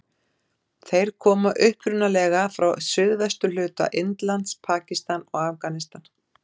Þeir koma upprunalega frá suðvesturhluta Indlands, Pakistan og Afganistan.